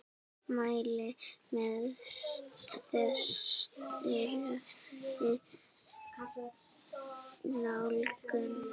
Mæli með þessari nálgun!